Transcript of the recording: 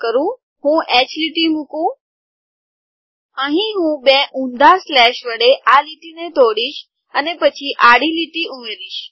ચાલો હું H line મુકું અહીં હું બે ઉંધા સ્લેશ વડે આ લીટી ને તોડીસ અને પછી આડી લીટી ઉમેરીશ